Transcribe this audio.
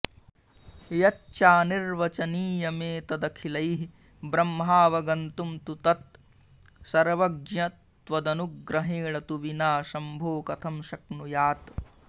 यच्चानिर्वचनीयमेतदखिलैः ब्रह्माऽवगन्तुं तु तत् सर्वज्ञ त्वदनुग्रहेण तु विना शम्भो कथं शक्नुयात्